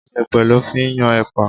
Iyepe lọ fí ń yan epa.